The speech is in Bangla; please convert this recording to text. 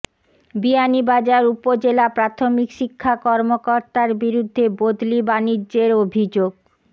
বিয়ানীবাজার উপজেলা প্রাথমিক শিক্ষা কর্মকর্তার বিরুদ্ধে বদলি বাণিজ্যের অভিযোগ